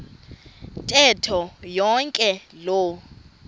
ntetho yonke loo